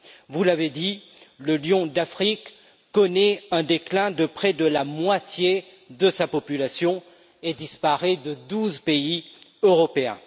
Vous l'avez dit, le lion d'Afrique connaît un déclin de près de la moitié de sa population et disparaît de douze pays européens.